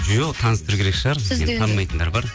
жоқ таныстыру керек шығар танымайтындар бар